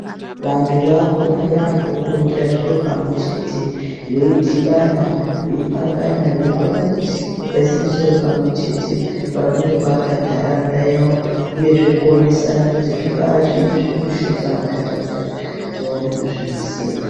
Vantu vakukona yaampo kurongera zviro pamwe chete veidhibana veipangana veikona kuti vaise mudoro pamwe chete vakone kuake ntaraunda yawo uyezve kuona kuti zvingaa zviini zviri kushota muntaraunda yawo vakone kuzviisemwo.